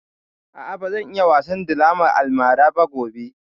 A'a, ba zan yi wasan draman almara ba gobe